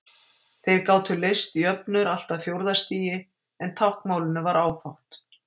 Þeir gátu leyst jöfnur allt að fjórða stigi en táknmálinu var áfátt.